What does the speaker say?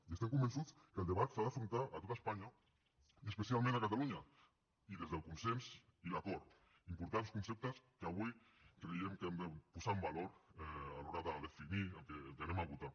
i estem convençuts que el debat s’ha d’afrontar a tot espanya i especialment a catalunya i des del consens i l’acord importants conceptes que avui creiem que hem de posar en valor a l’hora de definir el que votarem